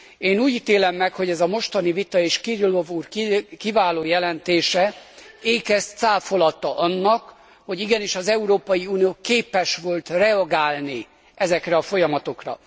Én úgy ítélem meg, hogy ez a mostani vita és Kirilov úr kiváló jelentése ékes cáfolata annak, hogy igenis az Európai Unió képes volt reagálni ezekre a folyamatokra.